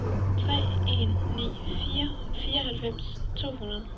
tre en ni fire fireoghalvfems to hundrede